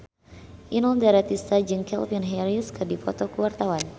Inul Daratista jeung Calvin Harris keur dipoto ku wartawan